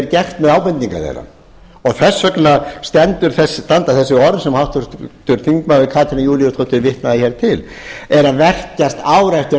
gert með ábendingar þeirra þess vegna standa þessi orð sem háttvirtur þingmaður katrín júlíusdóttir vitnaði hér til eru að velkjast ár eftir